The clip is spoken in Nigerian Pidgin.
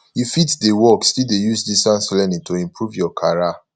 you fit dey work still dey use distance learning to improve your carrer